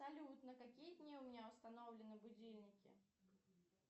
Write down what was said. салют на какие дни у меня установлены будильники